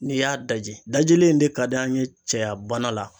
N'i y'a daji dajli in de ka d'an ye cɛyabana la